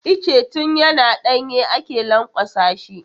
Itace tun yana ɗanye ake lanƙwasa shi.